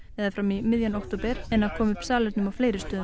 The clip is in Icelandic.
eða fram í miðjan október en að koma upp salernum á fleiri stöðum